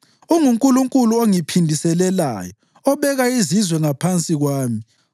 UnguNkulunkulu ongiphindiselelayo, obeka izizwe ngaphansi kwami,